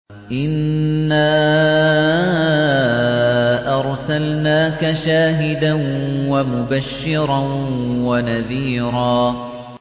إِنَّا أَرْسَلْنَاكَ شَاهِدًا وَمُبَشِّرًا وَنَذِيرًا